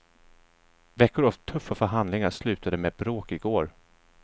Veckor av tuffa förhandlingar slutade med bråk i går.